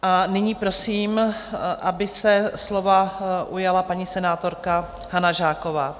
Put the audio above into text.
A nyní prosím, aby se slova ujala paní senátorka Hana Žáková.